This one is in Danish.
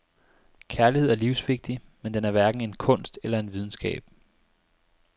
Kærlighed er livsvigtig, men den er hverken en kunst eller en videnskab.